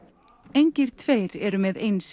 engir tveir eru með eins